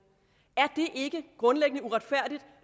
er det ikke grundlæggende uretfærdigt